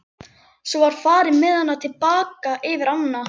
Svo var farið með hana til baka yfir ána.